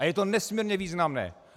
A je to nesmírně významné.